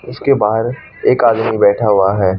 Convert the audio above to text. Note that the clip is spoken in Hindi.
इसके बाहर एक आदमी बैठा हुआ है।